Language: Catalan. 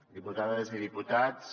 diputades i diputats